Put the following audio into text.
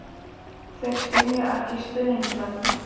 Þeir skynja ekki stuðningsmenn.